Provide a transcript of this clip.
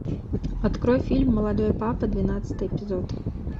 открой фильм молодой папа двенадцатый эпизод